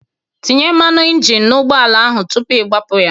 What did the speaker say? Tinye mmanụ injin n'ụgbọ ala ahụ tupu ị gbapụ ya!